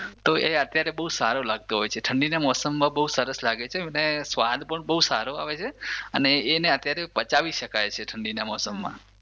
તો એ અત્યારે બઉ સારો લાગતો હોય છે ઠંડીના મોસમમાં બઉ સરસ લાગે છે અને સ્વાદ પણ બઉ સારો આવે છે અને એને અત્યારે પચાવી શકાય છે ઠંડીના મોસમમાં.